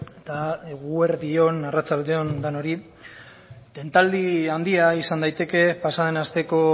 eta eguerdi on arratsalde on denoi tentaldi handia izan daiteke pasa den asteko